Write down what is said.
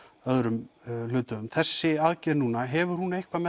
öðrum hluthöfum þessi aðgerð núna hefur hún eitthvað